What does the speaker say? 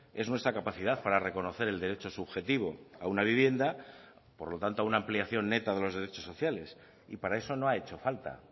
es nuestra capacidad para reconocer el derecho subjetivo a una vivienda por lo tanto a una ampliación neta de los derechos sociales y para eso no ha hecho falta